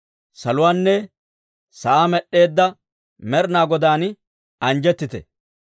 Saluwaanne sa'aa med'd'eedda Med'inaa Godaan anjjettite!